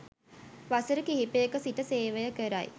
වසර කිහිපයක සිට සේවය කරයි.